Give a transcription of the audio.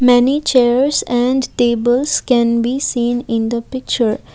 many chairs and tables can be seen in the picture.